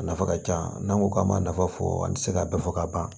A nafa ka ca n'an ko k'an ma nafa fɔ an tɛ se ka bɛɛ fɔ ka ban